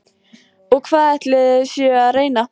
Og hvað ætlið þið séuð að reyna?